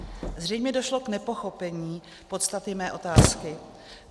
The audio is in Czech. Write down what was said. Zřejmě došlo k nepochopení podstaty mé otázky.